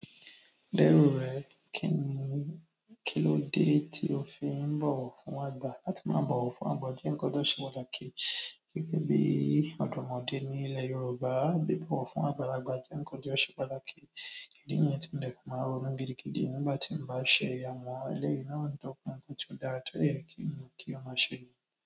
Dẹ́rù rẹ̀, kí ni, kílódé tí o fi ń bọ̀wọ̀ fún àgbà? Láti máa bọ̀wọ̀ fún àgbà jẹ́ ǹkan tó se pàtàkì gẹ́gẹ́ bí ọ̀dọ́mọdé ní ilẹ̀ Yorùbá, bí bọ̀wọ̀ fún àgbàlagbà jẹ́ nǹkan tó ṣe pàtàkì. Ìdí nì yẹn tí mo dẹ̀ fi máa ronú gidigidi nígbà tí mo bá se àmọ́ ẹlẹ́yìn náà tó kún ń pe tí ò dára tó èyí kí n mọ̀ kí ó máa se.